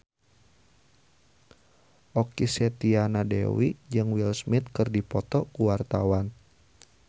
Okky Setiana Dewi jeung Will Smith keur dipoto ku wartawan